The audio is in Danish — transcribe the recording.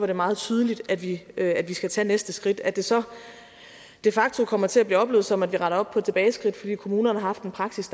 er meget tydeligt at vi at vi skal tage næste skridt at det så de facto kommer til at blive oplevet som at vi retter op på et tilbageskridt fordi kommunerne har haft en praksis